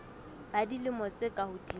ba dilemo tse ka hodimo